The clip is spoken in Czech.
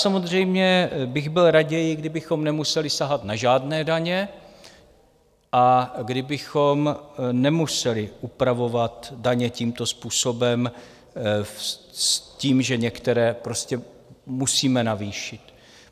Samozřejmě bych byl raději, kdybychom nemuseli sahat na žádné daně a kdybychom nemuseli upravovat daně tímto způsobem s tím, že některé prostě musíme navýšit.